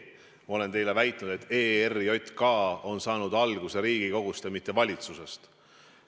Ma olen teile väitnud, et ERJK kaotamine on saanud alguse Riigikogust ja mitte valitsusest.